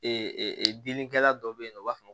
Ee dilikɛla dɔ bɛ yen u b'a fɔ